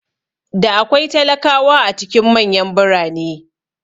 Da akwai talakawa a cikin manyan birane